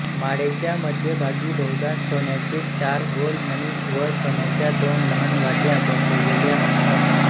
माळेच्या मध्यभागी बहुधा सोन्याचे चार गोल मणी व सोन्याच्या दोन लहान वाट्या बसविलेल्या असतात